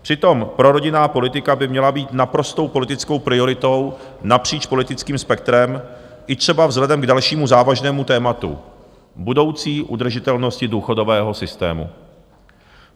Přitom prorodinná politika by měla být naprostou politickou prioritou napříč politickým spektrem, i třeba vzhledem k dalšímu závažnému tématu - budoucí udržitelnosti důchodového systému.